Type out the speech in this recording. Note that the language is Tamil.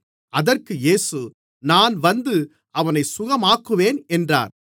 அதற்கு இயேசு நான் வந்து அவனைச் சுகமாக்குவேன் என்றார்